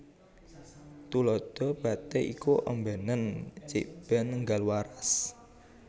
Tuladha Obaté iku ombénen cikbèn énggal waras